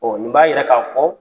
nin b'a yira k'a fɔ